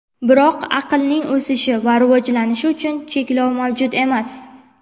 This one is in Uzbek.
Biroq aqlning o‘sishi va rivojlanishi uchun cheklov mavjud emas.